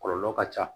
Kɔlɔlɔ ka ca